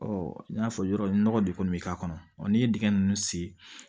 Ɔ n y'a fɔ yɔrɔ nɔgɔ de kɔni bɛ k'a kɔnɔ ɔ n'i ye dingɛ ninnu sen